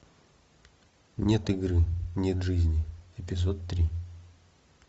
нет игры нет жизни эпизод три